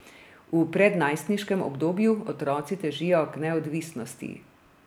V prednajstniškem obdobju otroci težijo k neodvisnosti.